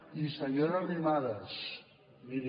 i senyora arrimadas miri